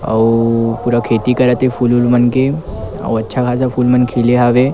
अऊ पूरा खेती करत हे फूल उल मन के अउ अच्छा खासा फूल मन खिले हवे ।